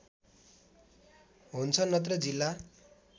हुन्छ नत्र जिल्ला